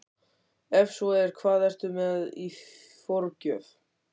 Ef svo er, hvað ertu með í forgjöf?